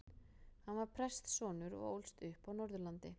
Hann var prestssonur og ólst upp á Norðurlandi.